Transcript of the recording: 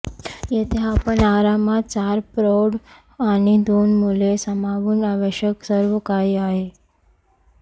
येथे आपण आरामात चार प्रौढ आणि दोन मुले सामावून आवश्यक सर्वकाही आहे